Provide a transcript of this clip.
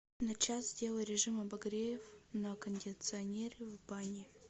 на час сделай режим обогрев на кондиционере в бане